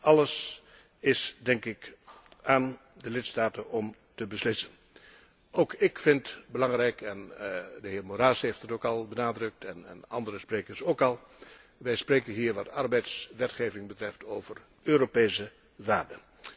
Dat is allemaal aan de lidstaten om te beslissen. Ook ik vind belangrijk en de heer Moraes heeft het ook al benadrukt en andere sprekers ook al wij spreken hier wat arbeidswetgeving betreft over Europese waarden.